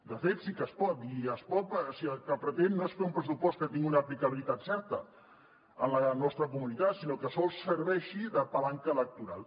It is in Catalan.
de fet sí que es pot i es pot si el que es pretén no és fer un pressupost que tingui una aplicabilitat certa a la nostra comunitat sinó que sols serveixi de palanca electoral